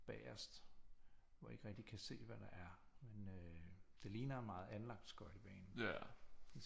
Bagerst hvor jeg ikke rigtig kan se hvad der er men øh det ligner meget anlagt skøjtebane